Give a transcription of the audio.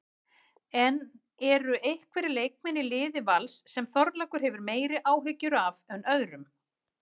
En eru einhverjir leikmenn í liði Vals sem Þorlákur hefur meiri áhyggjur af en öðrum?